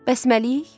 Bəs Məlik?